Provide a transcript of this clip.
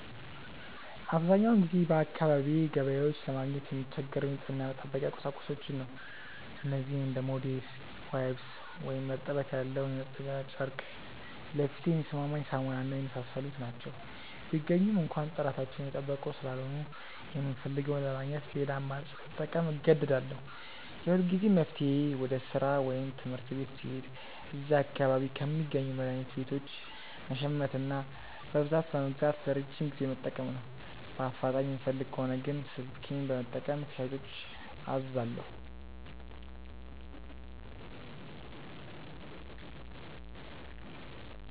አብዛኛውን ጊዜ በአካባቢዬ ገበያዎች ለማግኘት የምቸገረው የንጽህና መጠበቂያ ቁሳቁሶችን ነው። እነዚህም እንደ ሞዴስ፣ ዋይፕስ (እርጥበት ያለው ማጽጃ ጨርቅ)፣ ለፊቴ የሚስማማኝ ሳሙና እና የመሳሰሉት ናቸው። ቢገኙም እንኳ ጥራታቸውን የጠበቁ ስላልሆኑ፣ የምፈልገውን ለማግኘት ሌላ አማራጭ ለመጠቀም እገደዳለሁ። የሁልጊዜም መፍትሄዬ ወደ ሥራ ወይም ትምህርት ቤት ስሄድ እዚያ አካባቢ ከሚገኙ መድኃኒት ቤቶች መሸመትና በብዛት በመግዛት ለረጅም ጊዜ መጠቀም ነው። በአፋጣኝ የምፈልግ ከሆነ ግን ስልኬን በመጠቀም ከሻጮች አዛለሁ።